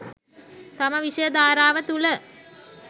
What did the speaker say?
තම විෂය ධාරාව තුළ